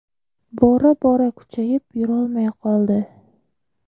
Bora bora kuchayib yurolmay qoldi.